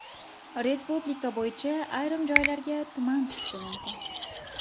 Respublika bo‘yicha ayrim joylarga tuman tushishi mumkin.